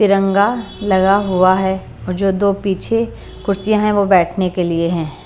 तिरंगा लगा हुआ है और जो दो पीछे कुर्सियां हैंवो बैठने के लिए हैं।